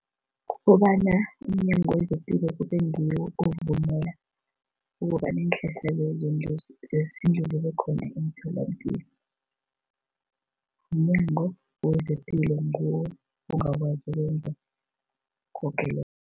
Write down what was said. Kukobana umNyango wezePilo kube ngiwo ovumela ukobana iinhlahla lezo zesintu zibekhona emtholapilo. MNyango wezePilo ngiwo ongakwazi ukwenza koke lokho.